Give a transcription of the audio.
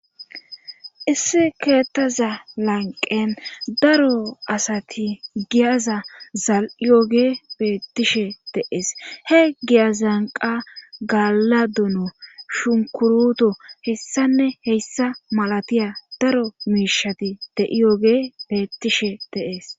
issi keettaza lanqen daro asati giyaza zal7iyooge bettishe deees he giya zanqa galadono shunkuruto hessanne heyssa malatiya daro miishati de7iyooge beettishe deees